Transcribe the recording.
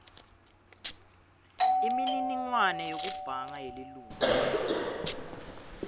imininingwane yekubhanga yelilunga